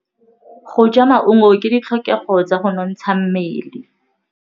Go ja maungo ke ditlhokegô tsa go nontsha mmele.